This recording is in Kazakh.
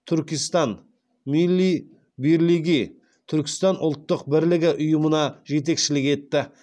туркестан милли бирлиги ұйымына жетекшілік етті